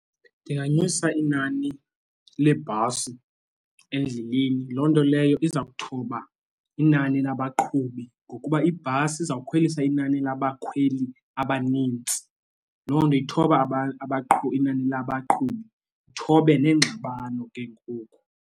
Ndinganyusa inani leebhasi endleleni loo nto leyo iza kuthoba inani labaqhubi ngokuba ibhasi izawukhwelisa inani labakhweli abanintsi. Loo nto ithoba abaqhubi inani labaqhubi uthobe neengxabano ke ngoku.